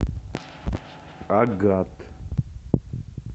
агат